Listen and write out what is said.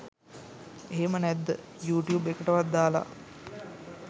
එහෙම නැත්ද යූටියුබ් එකටවත් දාලා?